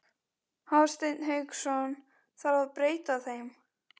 Hafsteinn Hauksson: Þarf að breyta þeim?